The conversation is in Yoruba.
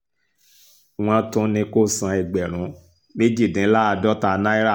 wọ́n tún ní kó san ẹgbẹ̀rún méjìdínláàádọ́ta náírà